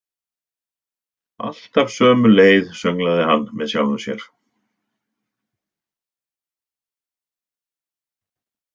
Alltaf sömu leið, sönglaði hann með sjálfum sér.